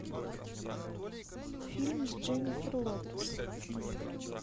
фильм с дженнифер лопес